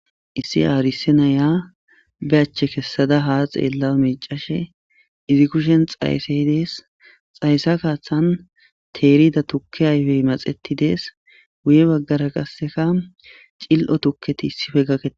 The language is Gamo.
Issi aarisenaya be achche kessada ha xeella micashe izi kushen xayssey dees xayssa kaaththan teerida tukke ayfey maxetidees wuye baggara qasseka cil'o tukketi issife gakkete